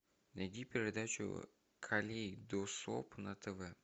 найди передачу калейдоскоп на тв